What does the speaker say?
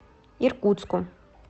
иркутску